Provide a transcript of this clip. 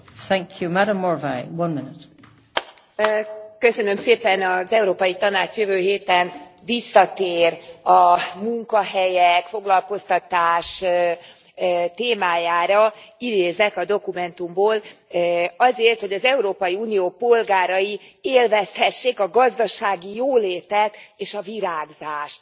Elnök Asszony, köszönöm szépen, az Európai Tanács jövő héten visszatér a munkahelyek, foglalkoztatás témájára, idézek a dokumentumból azért, hogy az Európai Unió polgárai élvezhessék a gazdasági jólétet és a virágzást.